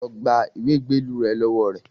Lọ gba ìwé ìgbélú rẹ lọ́wọ́ rẹ̀